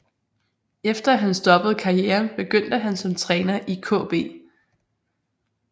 Efter at han stoppede karrieren begyndte han som træner i KB